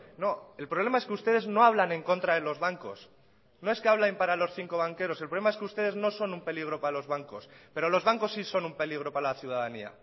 no el problema es que ustedes no hablan en contra de los bancos no es que habla en para los cinco banqueros el problema es que ustedes no son un peligro para los bancos pero los bancos sí son un peligro para la ciudadanía